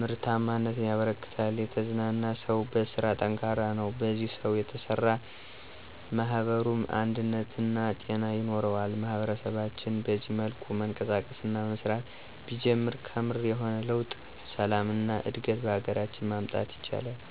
ምርታማነት ያበረክታል። የተዝናና ሰው በስራ ጠንካራ ነው፣ በዚህ ሰው የተሰራ ማኅበሩም አንድነትና ጤና ይኖረዋል። ማህበረሰባችን በዚህ መልኩ መንቀሳቀስ እና መስራት ቢጀምር ከምር የሆነ ለውጥ፣ ሰላም እና እድገት በሀገራችን ማምጣት ይችላል።